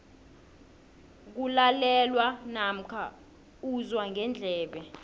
kulalelwa namkha uzwa ngendlebe